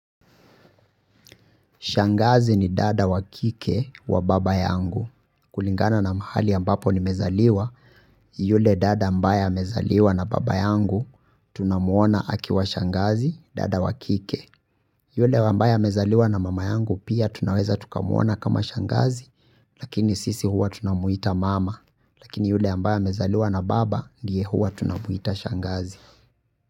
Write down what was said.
Shangazi ni dada wa kike wa baba yangu. Kulingana na mahali ambapo nimezaliwa yule dada ambaye amezaliwa na baba yangu tunamuona akiwa shangazi dada wa kike. Yule ambaye amezaliwa na mama yangu pia tunaweza tukamuona kama shangazi lakini sisi huwa tunamuita mama lakini yule ambaye amezaliwa na baba ndiye huwa tunamuita shangazi.